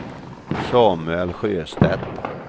Samuel Sjöstedt